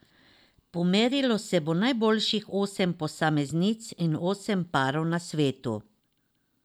Pomerilo se bo najboljših osem posameznic in osem parov na svetu.